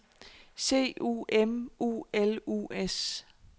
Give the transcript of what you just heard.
C U M U L U S